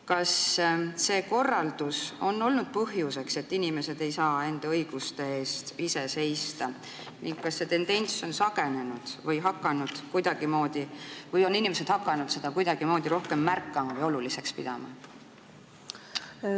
Kas see korraldus on olnud põhjuseks, et inimesed ei saa enda õiguste eest ise seista ning kas see tendents on süvenenud või on inimesed hakanud seda kuidagimoodi rohkem märkama ja oluliseks pidama?